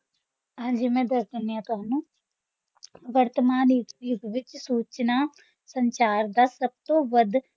ਹਾਂਜੀ ਮੈਂ ਦੱਸ ਦਿੰਦੀ ਹਾਂ ਤੁਹਾਨੂੰ ਵਰਤਮਾਨ ਦੇ ਯੁੱਗ ਵਿੱਚ ਸੂਚਨਾ-ਸੰਚਾਰ ਦਾ ਸਭ ਤੋਂ ਵੱਧ